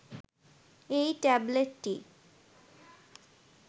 এই ট্যাবলেটটি